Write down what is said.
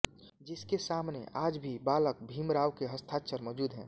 जिसके सामने आज भी बालक भीमराव के हस्ताक्षर मौजूद हैं